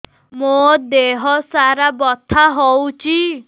ମୋ ଦିହସାରା ବଥା ହଉଚି